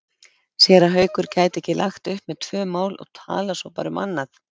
Séra Haukur gæti ekki lagt upp með tvö mál og talað svo bara um annað.